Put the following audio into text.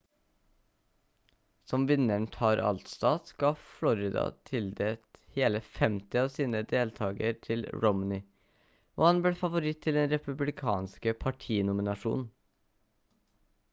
som vinneren tar alt-stat ga florida tildelt hele 50 av sine delegater til romney og han ble favoritt til den republikanske partinominasjonen